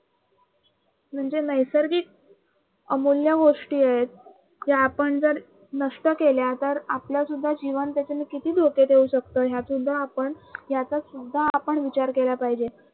म्हणजे नैसर्गिक अमूल्य गोष्टी आहेत त्या आपण जर नष्ट केल्या तर आपलं सुद्धा जीवन किती धोक्यात येऊ शकत हे सुद्धा आपण, याचा सुद्धा आपण विचार केला पाहिजे.